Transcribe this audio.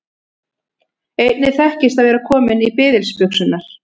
Einnig þekkist að vera kominn í biðilsbuxurnar.